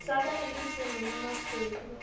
sa ka e le semenomasweu